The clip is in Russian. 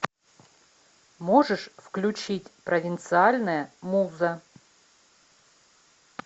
можешь включить провинциальная муза